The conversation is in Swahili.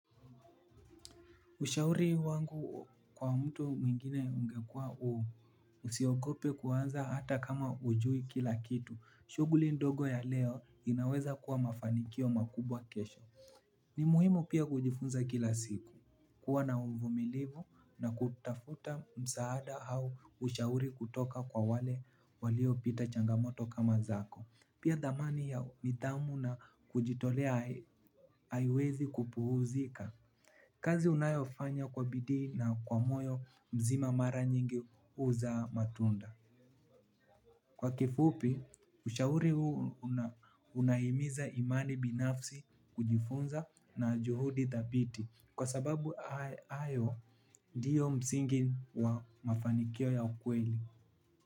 Ushauri wangu kwa mtu mwingine ungekuwa usiogope kuanza hata kama hujui kila kitu. Shughuli ndogo ya leo inaweza kuwa mafanikio makubwa kesho. Ni muhimu pia kujifunza kila siku. Kuwa na uvumilivu na kutafuta msaada au ushauri kutoka kwa wale waliopita changamoto kama zako. Pia dhamani ya nidhamu na kujitolea haiwezi kupuuzika. Kazi unayofanya kwa bidii na kwa moyo nzima mara nyingi huzaa matunda. Kwa kifupi, ushauri huu unahimiza imani binafsi kujifunza na juhudi thabiti. Kwa sababu hayo ndiyo msingi wa mafanikio ya ukweli.